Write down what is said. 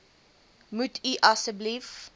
moet u asseblief